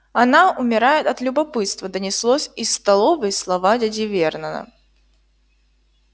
она умирает от любопытства донеслось из столовой слова дяди вернона